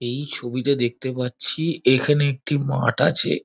এই ছবিতে দেখতে পাচ্ছি এখানে একটি মাঠ আছে।